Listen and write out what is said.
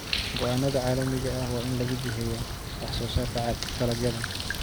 Go'aannada cilmiga ah waa in lagu jiheeyaa wax soo saarka dalagyada.